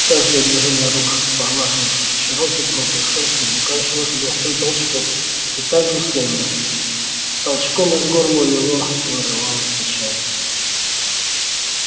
каждое движение рук поглаживавших чероки против шерсти заканчивалось лёгким толчком и так же словно толчком из горла у него вырывалось рычание